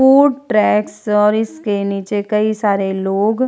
food truck और इसके नीचे कई सारे लोग --